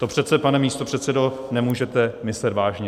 To přece, pane místopředsedo, nemůžete myslet vážně.